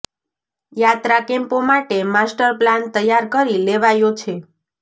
યાત્રા કેમ્પો માટે માસ્ટર પ્લાન તૈયાર કરી લેવાયો છે